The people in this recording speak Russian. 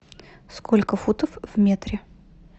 сколько футов в метре